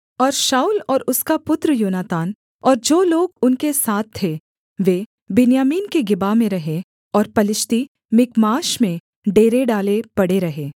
और शाऊल और उसका पुत्र योनातान और जो लोग उनके साथ थे वे बिन्यामीन के गेबा में रहे और पलिश्ती मिकमाश में डेरे डाले पड़े रहे